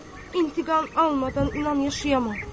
İntiqam almadan inan yaşayamam.